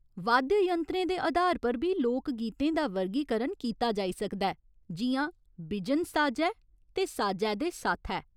वाद्य यंत्रें दे अधार पर बी लोक गीतें दा वर्गीकरण कीता जाई सकदा ऐ जि'यां बिजन साजै ते साजै दे साथै।